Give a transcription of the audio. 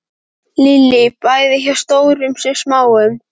Lillý: Bæði hjá stórum sem smáum?